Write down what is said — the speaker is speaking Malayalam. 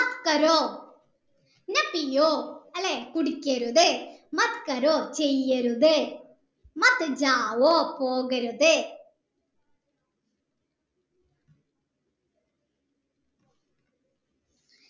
അല്ലെ കുടിക്കരുത് ചെയ്യരുത് പോകരുത്